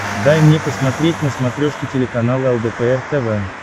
дай мне посмотреть на смотрешке телеканал лдпр тв